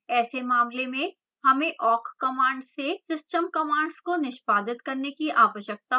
ऐसे मामले में हमें awk command से system commands को निष्पादित करने की आवश्यकता होगी